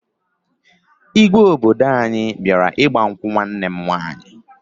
Igwe obodo anyị bịara ịgba nkwụ nwanne m nwaanyị